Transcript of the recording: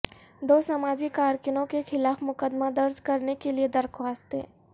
دو سماجی کارکنوں کے خلاف مقدمہ درج کرنے کے لیے درخواستیں